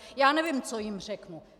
Já nevím, co jim řeknu.